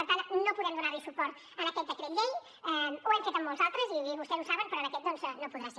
per tant no podem donar hi suport a aquest decret llei ho hem fet en molts altres i vostès ho saben però en aquest cas doncs no podrà ser